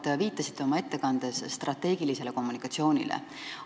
Te viitasite oma ettekandes korduvalt strateegilisele kommunikatsioonile.